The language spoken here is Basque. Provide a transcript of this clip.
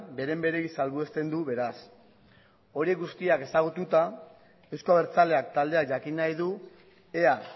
beren beregi salbuesten du beraz hori guztia ezagututa euzko abertzaleak taldeak jakin nahi du ea